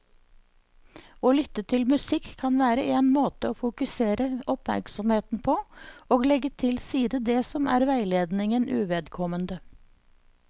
Å lytte til musikk kan være en måte å fokusere oppmerksomheten på og legge til side det som er veiledningen uvedkommende.